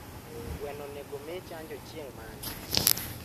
gweno onego mii chanjo chieng mane?